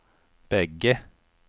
bägge